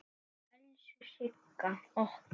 Elsku Sigga okkar.